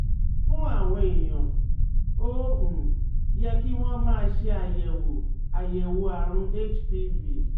Fún àwọn èèyàn, ó um yẹ kí wọ́n máa ṣe àyẹ̀wò àyẹ̀wò àrùn HPV